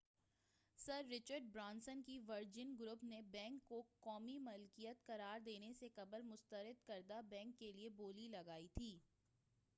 سر Richard Branson کے Virgin group نے bank کو قومی ملکیت قرار دینے سے قبل مسترد کردہ بینک کیلئے بولی لگائی تھی